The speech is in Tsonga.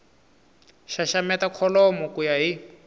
xaxameta kholomo ku ya hi